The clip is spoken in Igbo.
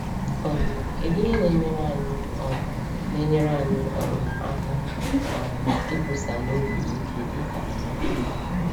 um Kedụ ihe na-enyere anyị um na-enyere anyị um aka um ikwusa n’obi ike dị ka Emeka?